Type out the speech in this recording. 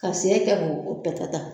Ka sɛnɛ kɛ k' o patata